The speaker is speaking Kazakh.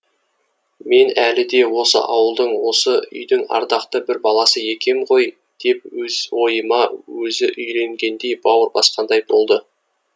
мен әлі де осы ауылдың осы үйдің ардақты бір баласы екем ғой деп өз ойына өзі үйренгендей бауыр басқандай болды